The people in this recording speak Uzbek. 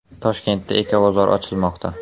Toshkentda Ecobozor ochilmoqda.